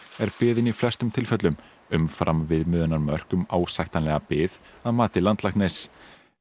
er biðin í flestum tilfellum umfram viðmiðunarmörk um ásættanlega bið að mati landlæknis